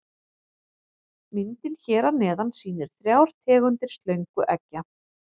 Myndin hér að neðan sýnir þrjár tegundir slöngueggja.